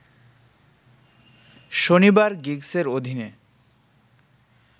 শনিবার গিগসের অধীনে